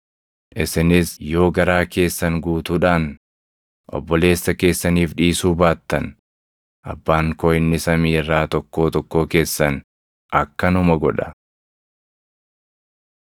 “Isinis yoo garaa keessan guutuudhaan obboleessa keessaniif dhiisuu baattan Abbaan koo inni samii irraa tokkoo tokkoo keessan akkanuma godha.”